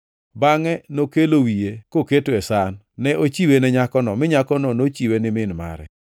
bangʼe nokelo wiye koketo e san. Ne ochiwe ne nyakono, mi nyakono nochiwe ni min mare.